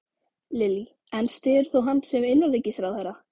Lillý: En styður þú hann sem innanríkisráðherra?